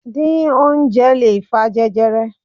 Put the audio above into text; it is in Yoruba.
Díín oúnjẹ lè fa jẹjẹrẹ.